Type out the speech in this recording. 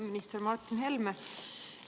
Minister Martin Helme!